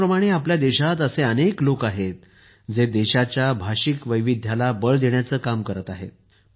त्याचप्रमाणे आपल्या देशात असे अनेक लोक आहेत जे देशाच्या भाषिक वैविध्याला बळ देण्याचे काम करत आहेत